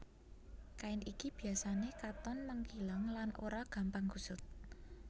Kain iki biasané katon mengkileng lan ora gampang kusut